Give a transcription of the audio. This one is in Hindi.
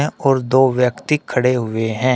और दो व्यक्ति खड़े हुए हैं।